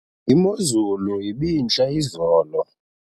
imozulu ibintle izolo